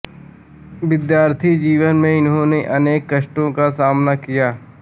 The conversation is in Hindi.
विद्यार्थी जीवन में इन्होंने अनेक कष्टों का सामना किया